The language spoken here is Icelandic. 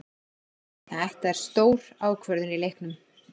Þetta er stór ákvörðun í leiknum.